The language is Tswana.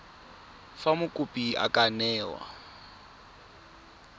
fa mokopi a ka newa